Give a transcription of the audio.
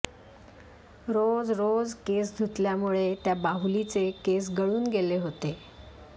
रोज रोज केस धुतल्यामुळे त्या बाहुलीचे केस गळून गेले होते